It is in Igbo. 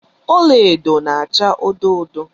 Ọla edo na acha odo odo